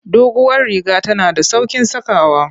Duguwar riga tana da sauƙin sakawa.